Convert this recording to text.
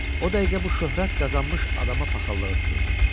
O dəqiqə bu şöhrət qazanmış adama paxıllığı tuturdu.